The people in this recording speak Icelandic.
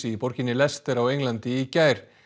í borginni Leicester á Englandi í gær